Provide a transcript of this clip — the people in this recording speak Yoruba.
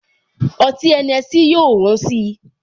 Ọtí Henessy yóò wón si